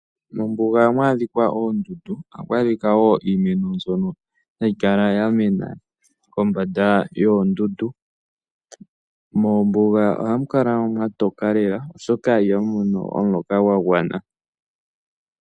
Mombuga ohamu adhika oondundu mo ohamu adhika wo iimeno mbyono hayi kala ya mena kombanda yoondundu. Mombuga ohamu kala mwa toka lela oshoka ihamu mono omuloka gwa gwana.